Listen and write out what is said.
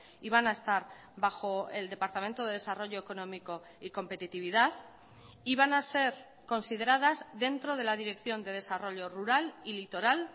y van a estar bajo el departamento de desarrollo económico y competitividad y van a ser consideradas dentro de la dirección de desarrollo rural y litoral